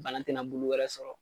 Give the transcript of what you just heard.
Banna tina bulu wɛrɛ sɔrɔ